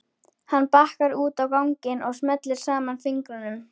Hann bakkar út á ganginn og smellir saman fingrunum.